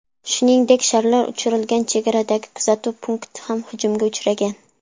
Shuningdek, sharlar uchirilgan chegaradagi kuzatuv punkti ham hujumga uchragan.